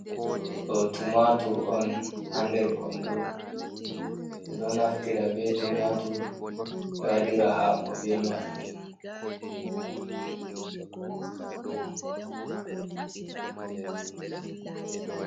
Do tumatur on ha nder kondo be ɓeɗo naftira be tumatur be waɗira hako be majum.